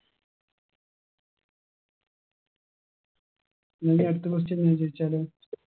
ന്റെ അടുത്ത question ഞാൻ ചോയിച്ചാലോ